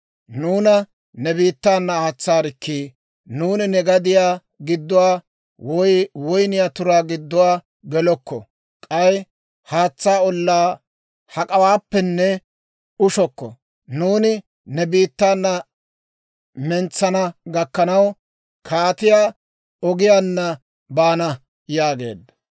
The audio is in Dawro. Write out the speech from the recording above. «Nuuna ne biittaana aatsaarikkii! Nuuni ne gadiyaa gidduwaa woy woyniyaa turaa gidduwaa gelokko; k'ay haatsaa ollaa hak'awaappenne ushokko. Nuuni ne biittaana aad'd'ana gakkanaw, Kaatiyaa Ogiyaanna baana» yaageedda.